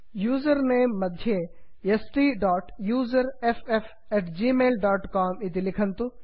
उसेर्नमे मध्ये STUSERFFgmailcom इति लिखन्तु